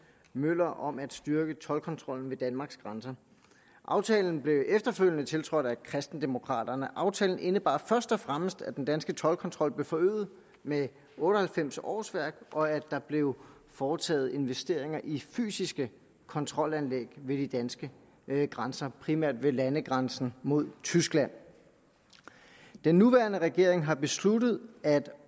møller om at styrke toldkontrollen ved danmarks grænser aftalen blev efterfølgende tiltrådt af kristendemokraterne aftalen indebar først og fremmest at den danske toldkontrol blev forøget med otte og halvfems årsværk og at der blev foretaget investeringer i fysiske kontrolanlæg ved de danske grænser primært ved landegrænsen mod tyskland den nuværende regering har besluttet at